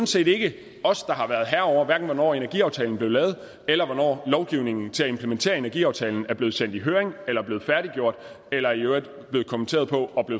set ikke os der har været herrer over hverken hvornår energiaftalen blev lavet eller hvornår lovgivningen til at implementere energiaftalen er blevet sendt i høring eller er blevet færdiggjort eller i øvrigt er blevet kommenteret og